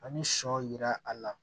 Ani sɔ yira a la